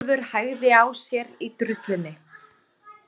Herjólfur hægði á sér í drullunni